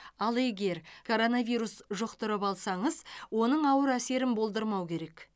ал егер коронавирус жұқтырып алсаңыз оның ауыр әсерін болдырмау керек